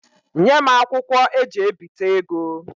Nye m akwụkwo eji ebita ego.